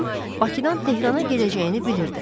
Onun Bakıdan Tehrana gedəcəyini bilirdi.